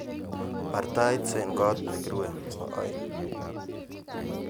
Baar tait eng koot negirue nebo aeng